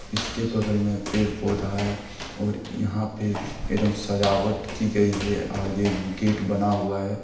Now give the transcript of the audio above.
इसके बगल में पेड़ पौधा है और यहाँ पे एदम सजावट की गयी है आगे गेट बना हुआ है।